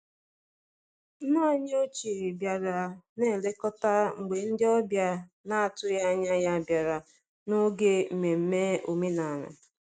Nne anyị ochie bịara na-elekọta mgbe ndị ọbịa na-atụghị anya ya bịara n'oge nmenme omenala.